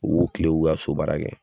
U k'u kilen u k'u ka sobaara kɛ.